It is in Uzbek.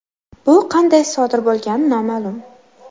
Bu qanday sodir bo‘lgani noma’lum.